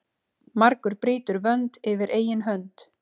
Margur brýtur vönd yfir eigin hönd.